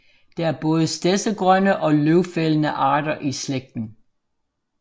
Der er både stedsegrønne og løvfældende arter i slægten